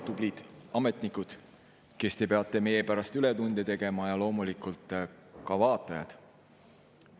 Tublid ametnikud, kes te peate meie pärast ületunde tegema, ja loomulikult ka vaatajad!